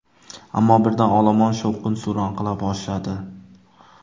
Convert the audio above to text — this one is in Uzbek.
Ammo birdan olomon shovqin-suron qila boshladi.